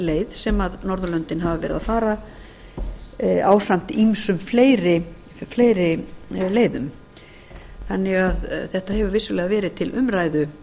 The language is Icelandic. leið sem norðurlöndin hafa verið að fara ásamt ýmsum fleiri leiðum þannig að þetta hefur vissulega verið til umræðu